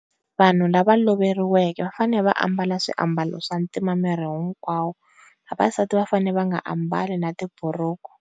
Vanhu lava va loveriweke va fanele va ambala swiambalo swantima miei hinkwawo vavasati va fanele va nga ambali na tiburuku.